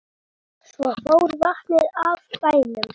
Svo fór vatnið af bænum.